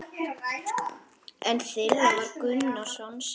Einn þeirra var Gunnar Sólnes.